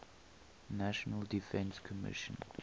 national defense commission